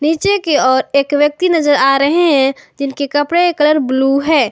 नीचे की और एक व्यक्ति नजर आ रहे हैं जिनके कपड़े का कलर ब्लू है।